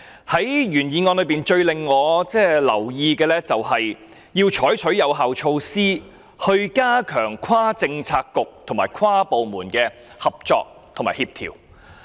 在原議案中最引起我注意的，就是要採取有效措施，以加強跨政策局和跨部門的合作和協調。